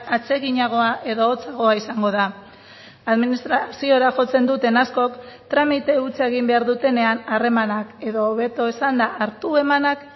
atseginagoa edo hotzagoa izango da administraziora jotzen duten askok tramite hutsa egin behar dutenean harremanak edo hobeto esanda hartu emanak